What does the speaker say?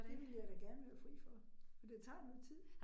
Det ville jeg da gerne være fri for, for det tager noget tid